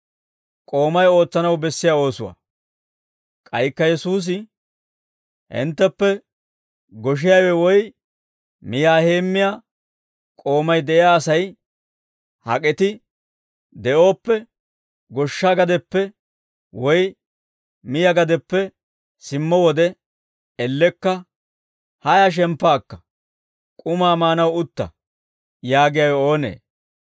K'aykka Yesuusi, «Hintteppe goshiyaawe woy miyaa heemmiyaa k'oomay de'iyaa Asay hak'et de'ooppe, goshsha gadeppe woy miyaa gadeppe simmo wode ellekka, ‹Haaya shemppa akka, k'umaa maanaw utta› yaagiyaawe oonee?